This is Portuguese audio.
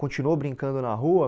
Continuou brincando na rua?